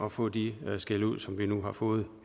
at få de skældud som vi nu har fået